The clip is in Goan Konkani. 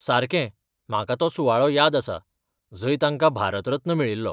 सारकें, म्हाका तो सुवाळो याद आसा, जंय ताका भारत रत्न मेळिल्लो.